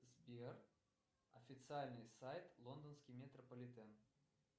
сбер официальный сайт лондонский метрополитен